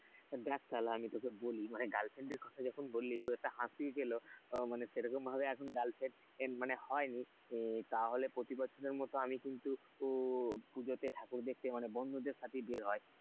দেখ শালা আমি তোকে বলি girlfriend কথা যখন বললি খুব একটা হাসি পেল, তো সেরকম ভাবে এখন গার্লফ্রেন্ড মানে হয়নি, তাহলে প্রতি বছর কিন্তু আমি উম পুজোতে ঠাকুর দেখতে বন্ধুদের সাথে বের হয়।